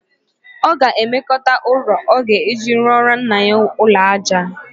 Ọ ga-ewekọnata ụrọ ọ ga-eji rụọrọ nna ya ụlọaja